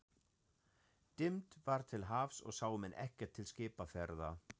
Dimmt var til hafs og sáu menn ekkert til skipaferða.